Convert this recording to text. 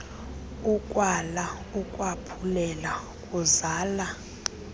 ukwala ukwaphulela kuzala